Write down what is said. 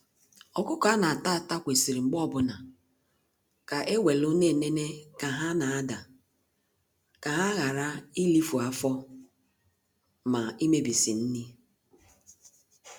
Ọkụkọ a na-ata ata kwesịrị mgbe ọbụna, ka e welu na-enene ka ha n'adaa, ka ha ghara ilifu afọ, ma imebisi nri.